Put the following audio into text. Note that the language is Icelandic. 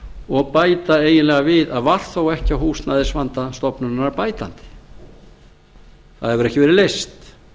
og bæta eiginlega við að var þó ekki á húsnæðisvanda stofnunarinnar bætandi það hefur ekki verið leyst